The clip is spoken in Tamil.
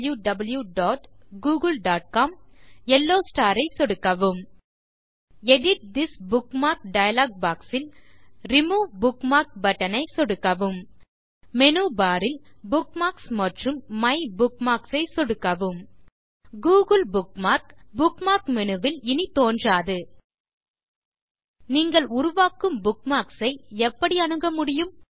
யெல்லோ ஸ்டார் ஐ சொடுக்கவும் edit this bookmark dialog box ல் ரிமூவ் புக்மார்க் பட்டன் ஐ சொடுக்கவும் மேனு பார் ல் புக்மார்க்ஸ் மற்றும் மைபுக்மார்க்ஸ் ஐ சொடுக்கவும் google புக்மார்க் புக்மார்க் மேனு ல் இனி தோன்றாது நீங்கள் உருவாக்கும் புக்மார்க்ஸ் ஐ எப்படி அணுக முடியும்